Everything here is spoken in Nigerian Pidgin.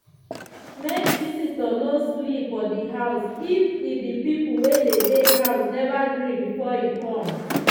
make visitor no sleep for di house if e di people wey dey day house never gree before e come.